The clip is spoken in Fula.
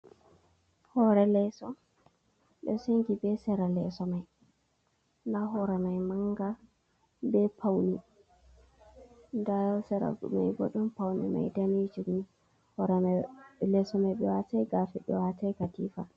Hore leeso ɗo shengi be sera leeso mai, nda hore mai manga be paune, nda sera mai bo ɗon paune mai danejum ni hore leeso mai ɓe watai gafe, ɓe watai katifa.